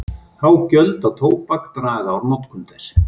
Há gjöld á tóbak draga úr notkun þess.